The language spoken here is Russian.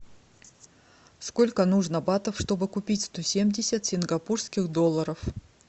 сколько нужно батов чтобы купить сто семьдесят сингапурских долларов